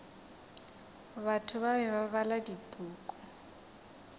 batho bale ba bala dipuku